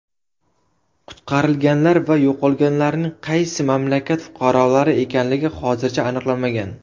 Qutqarilganlar va yo‘qolganlarning qaysi mamlakat fuqarolari ekanligi hozircha aniqlanmagan.